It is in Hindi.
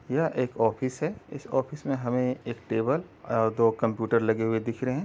यह एक ऑफिस है इस ऑफिस मे हमे एक टेबल और दो कंप्युटर लगे हुए दिख रहे है।